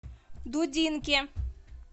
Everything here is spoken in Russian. дудинке